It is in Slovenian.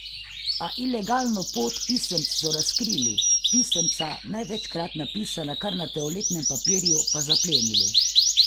A ilegalno pot pisemc so razkrili, pisemca, največkrat napisana kar na toaletnem papirju, pa zaplenili.